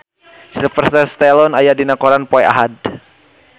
Sylvester Stallone aya dina koran poe Ahad